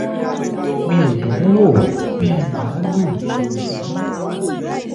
mi ò dùn ún wò bíi màálùú ni mo ṣe rí